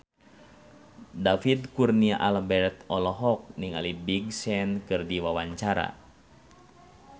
David Kurnia Albert olohok ningali Big Sean keur diwawancara